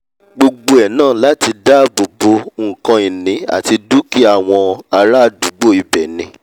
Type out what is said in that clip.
gbogbo ẹ̀ náà láti dáàbò bo nkan ìní àti dúkìá àwọn ará àdúgbò ibẹ̀ ni